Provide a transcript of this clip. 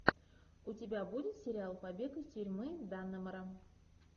у тебя будет сериал побег из тюрьмы даннемора